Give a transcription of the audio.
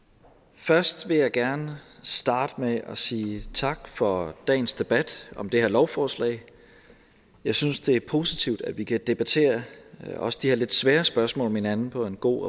først vil jeg gerne starte med at sige tak for dagens debat om det her lovforslag jeg synes det er positivt at vi kan debattere også de her lidt svære spørgsmål med hinanden på en god